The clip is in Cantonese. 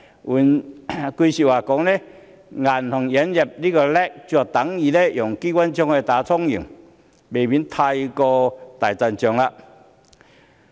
換句話說，銀行引入 LAC 是等於用機關槍來打蒼蠅，未免過於大陣仗。